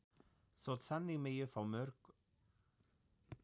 Þótt þannig megi fá mjög gjöfular holur í